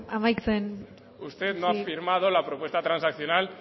amaitzen joan usted no ha firmado la propuesta transaccional